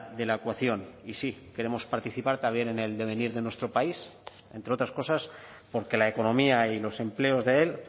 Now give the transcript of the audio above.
de la ecuación y sí queremos participar también en el devenir de nuestro país entre otras cosas porque la economía y los empleos de él